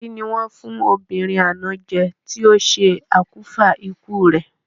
Kí ni wọ́n fún ọmọbìnrin àná jẹ ti o se òkùnfà ikú rẹ?